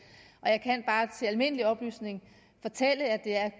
og jeg kan bare til almindelig oplysning fortælle at det